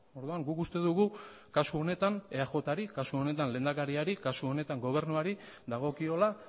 orduan guk uste dugu kasu honetan eajri kasu honetan lehendakariari kasu honetan gobernuari dagokiola